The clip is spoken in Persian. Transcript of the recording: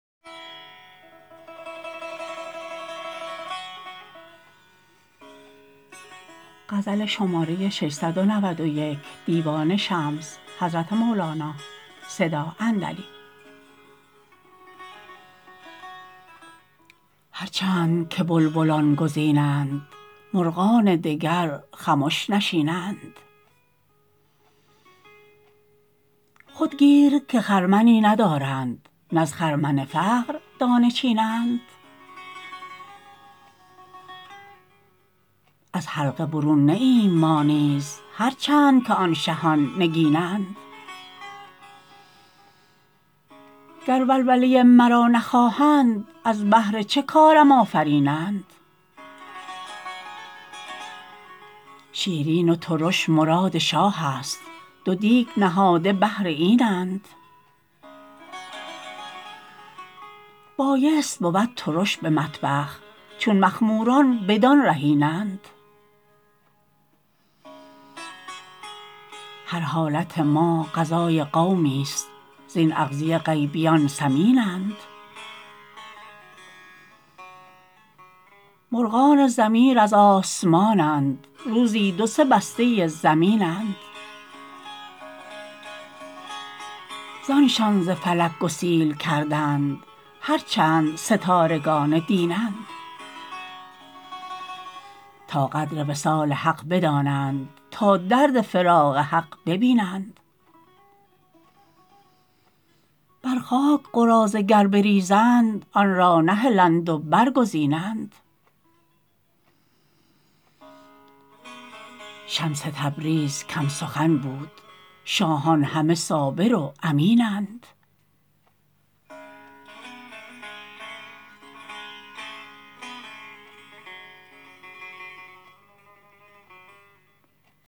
هر چند که بلبلان گزینند مرغان دگر خمش نشینند خود گیر که خرمنی ندارند نه از خرمن فقر دانه چینند از حلقه برون نه ایم ما نیز هر چند که آن شهان نگینند گر ولوله مرا نخواهند از بهر چه کارم آفرینند شیرین و ترش مراد شاهست دو دیگ نهاده بهر اینند بایست بود ترش به مطبخ چون مخموران بدان رهینند هر حالت ما غذای قومیست زین اغذیه غیبیان سمینند مرغان ضمیر از آسمانند روزی دو سه بسته زمینند زانشان ز فلک گسیل کردند هر چند ستارگان دینند تا قدر وصال حق بدانند تا درد فراق حق بینند بر خاک قراضه گر بریزند آن را نهلند و برگزینند شمس تبریز کم سخن بود شاهان همه صابر و امینند